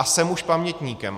A jsem už pamětníkem.